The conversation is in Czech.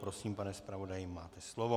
Prosím, pane zpravodaji, máte slovo.